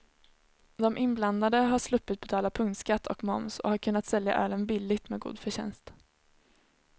De inblandade har sluppit betala punktskatt och moms och har kunnat sälja ölen billigt med god förtjänst.